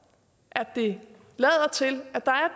at det lader til at der